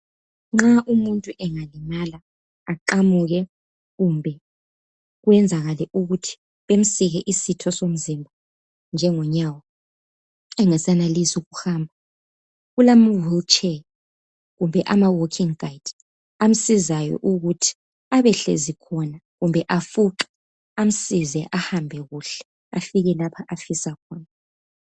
Nxa umuntu engalimala, aqamuke kumbe kwenzakale ukuthi bemsike isitho somzimba njengonyawo engasenelisi ukuhamba kulamawheelchair kumbe amawalking guide amsizayo ukuthi abehlezi khona kumbe afuqe amsize ahambe afike lapho afisa khona.